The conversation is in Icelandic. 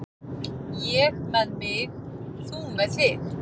Ég með mig, þú með þig.